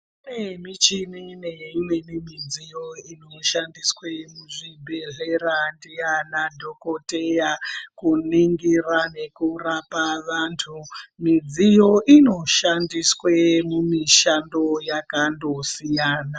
Kune michini neimweni midziyo inoshandiswa muzvibhedhlera ndiana dhokodheya kuningira nekurapa vantu midziyo inoshandiswa mumishando yakandosiyana.